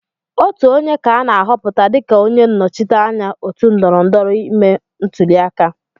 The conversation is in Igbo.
Otu onye ka ana ahọpụta dịka onye nnọchiteanya otu ndọrọndọrọ ime ntụliaka.